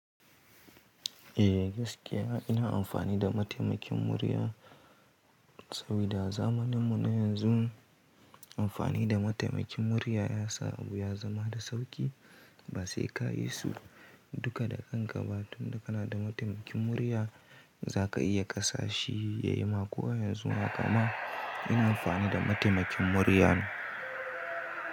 Eh gaskiya ina amfani da mataimakin murya, saboda zamaninmu na yanzu amfani da mataimakin murya ya sa abu ya zama da sauƙi. Ba sai ka yi sulh duka da ƙanƙaba, tun da kana da mataimakin murya za ka iya gasa shi ya yi ma. Ko yanzu haka ma ina amfani da mataimakin murya ne.